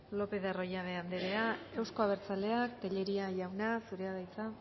lopez de arroyabe anderea euzko abertzaleak tellería jauna zurea da hitza